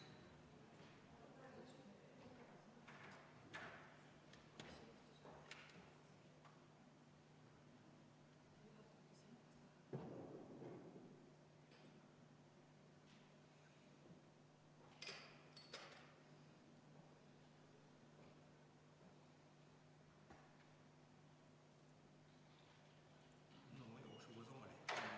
Palun teeme kohaloleku kontrolli!